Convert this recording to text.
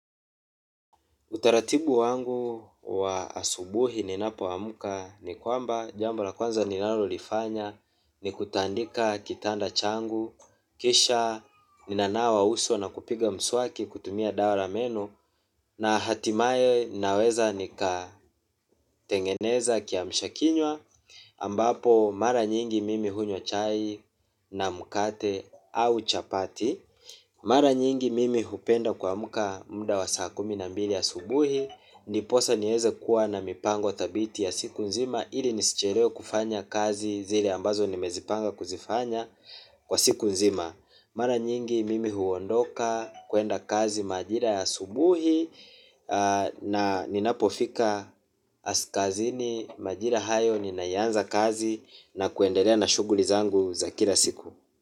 Utaratibu wangu wa asubuhi ninapo amka ni kwamba jambo la kwanza ninalo lifanya ni kutandika kitanda changu, kisha ninanawa uso na kupiga mswaki kutumia dawa la meno na hatimaye naweza nika tengeneza kiamsha kinywa ambapo mara nyingi mimi hunywa chai na mkate au chapati. Mara nyingi mimi hupenda kuamka muda wa saa kumi na mbili asubuhi ndiposa nieze kuwa na mipango thabiti ya siku nzima. Ili nisichelewe kufanya kazi zile ambazo nimezipanga kuzifanya kwa siku nzima. Mara nyingi mimi huondoka kuenda kazi majira ya asubuhi. Na ninapofika kazini majira hayo ninaianza kazi na kuendelea na shughuli zangu za kila siku.